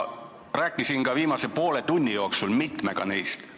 Rääkisin ka viimase poole tunni jooksul mitmega neist.